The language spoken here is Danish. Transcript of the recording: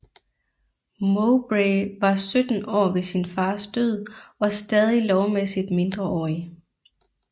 Mowbray var sytten år ved sin fars død og stadig lovmæssigt mindreårig